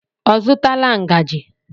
Ọ zụtala ngaji?